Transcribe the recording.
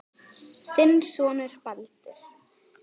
Þinn sonur Baldur.